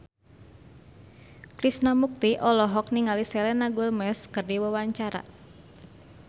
Krishna Mukti olohok ningali Selena Gomez keur diwawancara